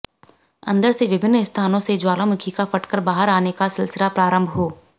अंदर से विभिन्न स्थानों से ज्वालामुखी का फटकर बाहर आने का सिलसिला प्रारंभ हो